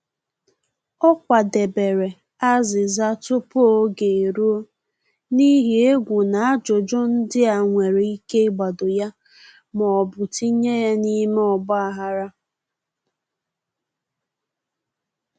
Ọ kwadebere azịza tupu oge eruo, n’ihi egwu na ajụjụ ndị a nwere ike ịgbado ya ma ọ bụ tinye ya na-ime ọgba-aghara